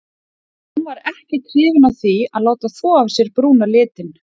En hún var ekkert hrifin af því að láta þvo af sér brúna litinn.